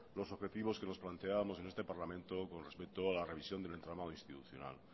los efectivos que nos planteábamos en este parlamento con respecto a la revisión del entramado institucional